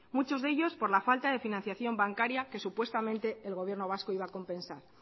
muchos de ellos por la falta de financiación bancaria que supuestamente el gobierno vasco iba a compensar